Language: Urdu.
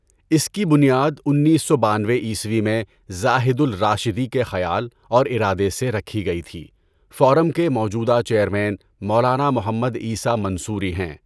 اس کی بنیاد انیس سو بانوے عیسوی میں زاہد الراشدی کے خیال اور ارادہ سے رکھی گئی تھی۔ فورم کے موجودہ چیئرمین مولانا محمد عیسیٰ منصوری ہیں۔